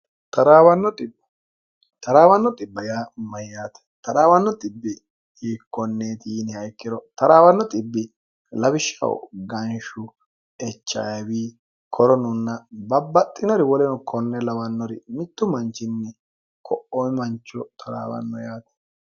taraawanno 0y mayyaate trawanno 0 yiikkonneeti yiiniha ikkiro traawanno bbi lawishshah ganshu echwi koronunna babbaxxinori woleno konne lawannori mittu manchinni ko'oi mancho toraawanno yaate